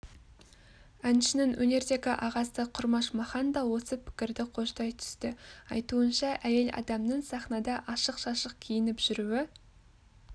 әншінің өнердегі ағасы құрмаш махан даосы пікірді қоштай түсті айтуынша әйел адамның сахнада ашық-шашық киініп жүруі